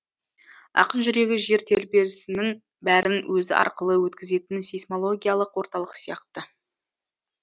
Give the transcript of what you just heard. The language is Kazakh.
ақын жүрегі жер тербелісінің бәрін өзі арқылы өткізетін сейсмологиялық орталық сияқты